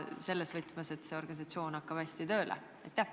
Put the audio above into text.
Seda just selles mõttes, et uus organisatsioon hakkab hästi tööle?